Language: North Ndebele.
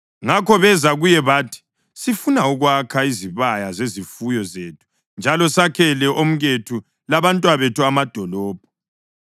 Ngakho beza kuye bathi, “Sifuna ukwakha izibaya zezifuyo zethu njalo sakhele omkethu labantwabethu amadolobho.